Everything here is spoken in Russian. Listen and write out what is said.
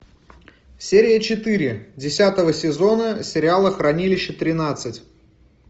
серия четыре десятого сезона сериала хранилище тринадцать